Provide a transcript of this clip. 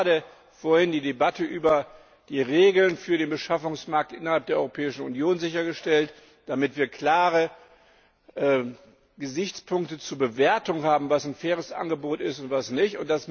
Wir haben gerade vorhin die Debatte über die Regeln für den Beschaffungsmarkt innerhalb der Europäischen Union geführt und sichergestellt, dass wir klare Gesichtspunkte zur Bewertung haben, was ein faires Angebot ist und was nicht.